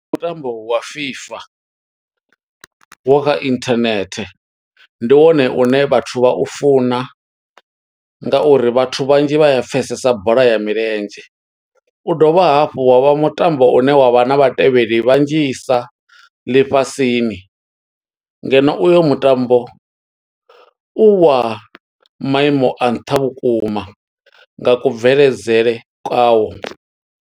Mutambo wa FIFA, wa kha internet ndi wone une vhathu vha u funa, nga uri vhathu vhanzhi vha a pfesesa bola ya milenzhe. U dovha hafhu wa vha mutambo wa une wa vha na vhatevheli vhanzhisa ḽifhasini, ngeno uyo mutambo u wa maimo a nṱha vhukuma nga kubveledzele kwawo.